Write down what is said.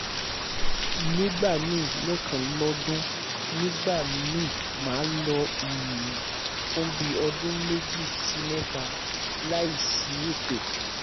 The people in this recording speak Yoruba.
nigbami lekan lodun nigba mi ma lo um fun bi odun meji si meta layi si eto